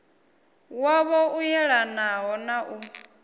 wavho u yelanaho na u